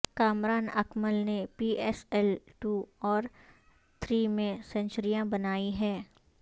کامران اکمل نے P S L two اور three میں سنچریاں بنائی ہیں